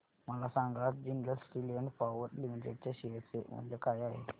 मला सांगा आज Jindal steel and power limited च्या शेअर चे मूल्य काय आहे